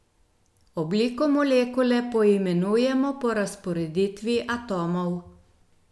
Obliko molekule poimenujemo po razporeditvi atomov.